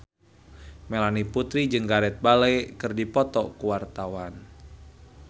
Melanie Putri jeung Gareth Bale keur dipoto ku wartawan